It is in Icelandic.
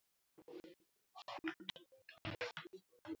Þá var nú gaman.